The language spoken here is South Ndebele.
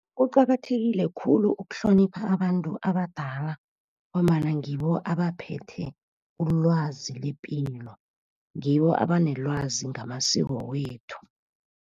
Kuqakathekile khulu ukuhlonipha abantu abadala ngombana ngibo abaphethe ulwazi lepilo. Ngibo abanelwazi ngamasiko wethu.